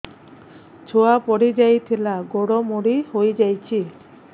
ଛୁଆ ପଡିଯାଇଥିଲା ଗୋଡ ମୋଡ଼ି ହୋଇଯାଇଛି